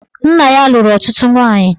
Nna ya lụrụ ọtụtụ nwaanyị